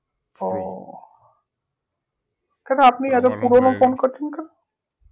ও কেন আপনি